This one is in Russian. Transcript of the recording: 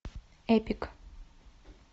эпик